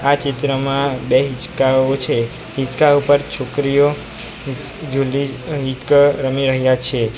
આ ચિત્રમાં બે હીચકાઓ છે હિંચકા ઉપર છોકરીઓ હિચ જુલી ઈક રમી રહ્યા છે.